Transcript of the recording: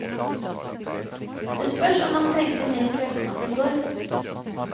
Det spørs om han trengte mer kveldsmat i går.